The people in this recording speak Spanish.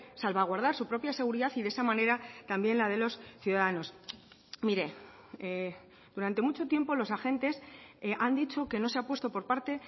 salvaguardar su propia seguridad y de esa manera también la de los ciudadanos mire durante mucho tiempo los agentes han dicho que no se ha puesto por parte